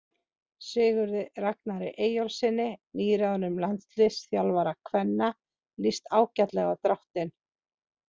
Sigurði Ragnari Eyjólfssyni nýráðnum landsliðsþjálfara kvenna lýst ágætlega á dráttinn.